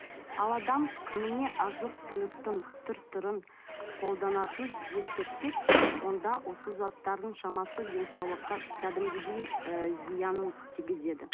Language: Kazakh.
ал адам күніне азық түліктің түр түрін қолданатынын ескерсек онда осы заттардың шамасы денсаулыққа кәдімгідей і зиянын тигізеді